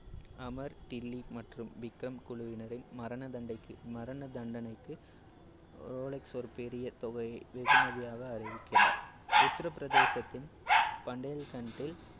அமர், டில்லி மற்றும் விக்ரம் குழுவினரின் மரணதண்டைக்கு~ மரண தண்டனைக்கு ரோலக்ஸ் ஒரு பெரிய தொகையை வெகுமதியாக அறிவிக்கிறார். உத்திரபிரதேசத்தின்